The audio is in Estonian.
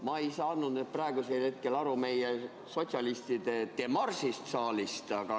Ma ei saanud praegu aru meie sotsialistide demaršist saalist.